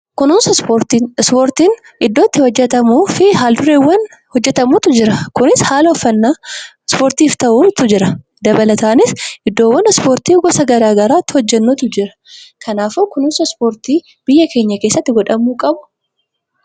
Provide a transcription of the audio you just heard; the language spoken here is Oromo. Kunuunsa ispoortii kessatti ispoortiin haalaa fi gosoonni ittin hojjetamu hedduutu jira. Innis haala uffannaa, haala nyaataa fi iddoo ispoortiin itti hojjetamu hedduutu jiru. Kanaafuu kunuunsi ispoortii biyya keenya keessatti sirriitti godhamuu qabu.